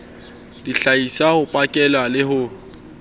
dihlahiswa ho pakela le ho